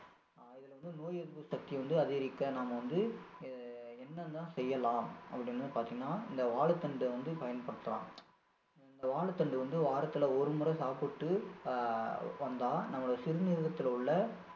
இதுல வந்து நோய் எதிர்ப்பு சக்தி வந்து அதிகரிக்க நம்ம வந்து அஹ் என்னென்ன செய்யலாம் அப்படின்னு பார்த்திங்கன்னா இந்த வாழைத்தண்ட வந்து பயன்படுத்தலாம் இந்த வாழைதண்டு வந்து வாரத்துல ஒரு முறை சாப்பிட்டு அஹ் வந்தா நம்முடைய சிறுநீரகத்தில உள்ள